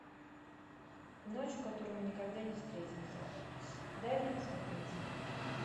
ночь в которой мы никогда не встретимся дай мне посмотреть